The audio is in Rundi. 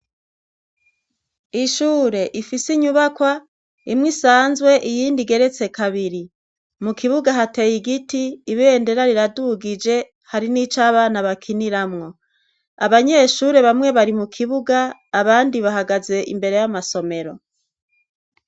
Ishure ifise inyubakwa imwe isanzwe iyindi geretse kabiri mu kibuga hateye igiti ibendera riradugije hari n'ico abana bakiniramwo abanyeshure bamwe bari mu kibuga abandi bahagaze imbere y'amasomero.